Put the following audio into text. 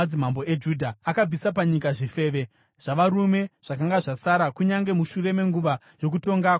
Akabvisa panyika zvifeve zvavarume zvakanga zvasara kunyange mushure menguva yokutonga kwababa vake Asa.